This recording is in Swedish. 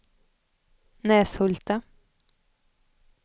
Näshulta